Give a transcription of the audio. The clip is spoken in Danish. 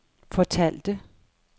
fortalte